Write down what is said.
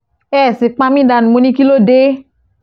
ẹ ẹ́ sì pa mí dànù mo ní kí ló dé